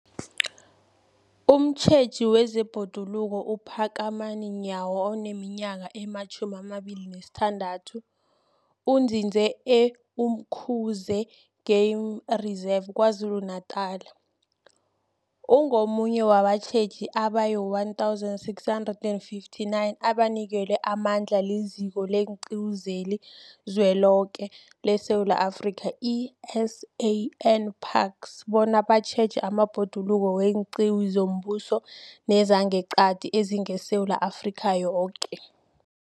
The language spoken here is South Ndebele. Umtjheji wezeBhoduluko uPhakamani Nyawo oneminyaka ema-26, onzinze e-Umkhuze Game Reserve KwaZulu-Natala, ungomunye wabatjheji abayi-1 659 abanikelwe amandla liZiko leenQiwu zeliZweloke leSewula Afrika, i-SANParks, bona batjheje amabhoduluko weenqiwu zombuso nezangeqadi ezingeSewula Afrika yoke.